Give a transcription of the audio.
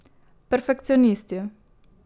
Perfekcionisti.